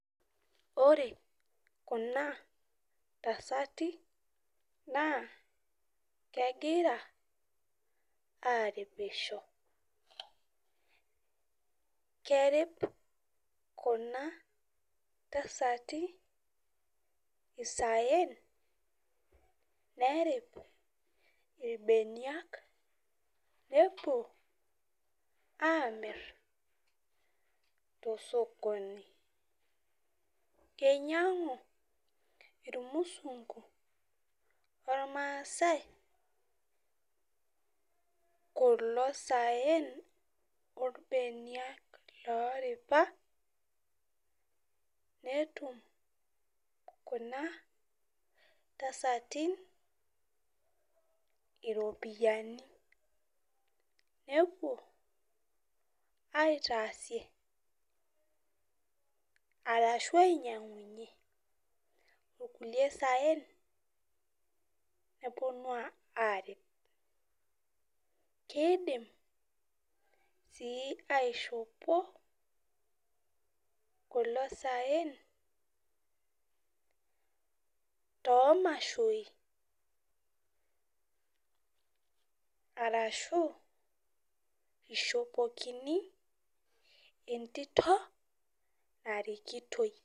Ore kuna tasati, naa kegira aripisho. Kerip kuna tasati isaen nerip irbeniak nepuo amir tosokoni. Keinyang'u irmusunku ormaasai kulo saen orbeniak loripa, netum kuna tasatin iropiyiani. Nepuo aitaasie arashu ainyang'unye inkulie saen neponu arip. Kidim si aishopo kulo saen tomashoi arashu ishopokini entito narikitoi.